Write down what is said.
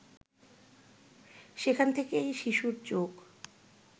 সেখান থেকেই শিশুর চোখ